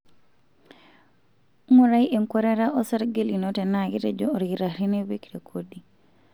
Ngurai enkuatata osarge lino tenaa ketejo olkitarri nipik rekodi.